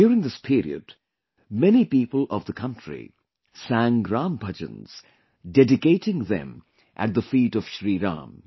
During this period, many people of the country sang Ram Bhajans dedicating them at the feet of Shri Ram